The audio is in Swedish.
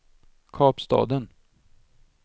Kapstaden